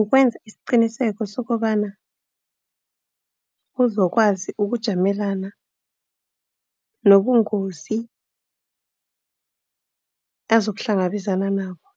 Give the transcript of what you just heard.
Ukwenza isiqiniseko sokobana, uzokwazi ukujamelana nobungozi azokuhlangabezana nabo